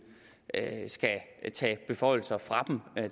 skal tage beføjelser fra dem